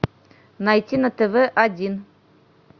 найти на тв один